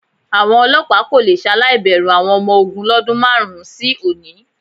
Àwọn olọ́pàá kò le ṣaláì bẹ̀rù àwọn ọmọ ogún lọ́dún márùn-ún sí òní.